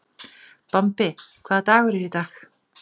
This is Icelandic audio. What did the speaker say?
Bambi, hvaða dagur er í dag?